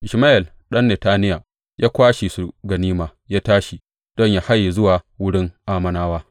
Ishmayel ɗan Netaniya ya kwashe su ganima, ya tashi don yă haye zuwa wurin Ammonawa.